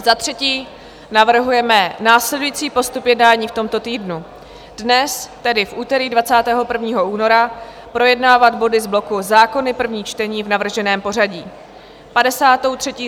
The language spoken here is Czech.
Za třetí navrhujeme následující postup jednání v tomto týdnu: dnes, tedy v úterý 21. února, projednávat body z bloku Zákony - první čtení v navrženém pořadí.